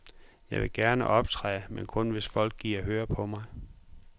Jeg vil gerne optræde, men kun hvis folk gider høre på mig.